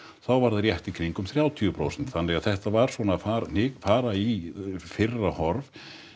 þá var það rétt í kringum þrjátíu prósent þannig að þetta var svona að fara í fara í fyrra horf